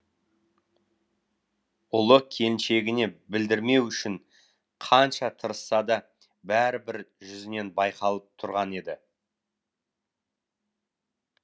ұлы келіншегіне білдірмеу үшін қанша тырысса да бәрібір жүзінен байқалып тұрған еді